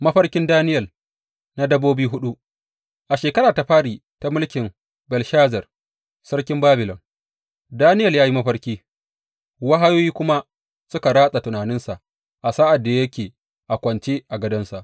Mafarkin Daniyel na dabbobi huɗu A shekara ta fari ta mulkin Belshazar sarkin Babilon, Daniyel ya yi mafarki, wahayoyi kuma suka ratsa tunaninsa a sa’ad da yake a kwance a gadonsa.